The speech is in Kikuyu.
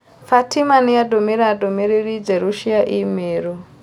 Fatima nĩandũmĩire ndũmĩrĩri njerũ cia i-mīrū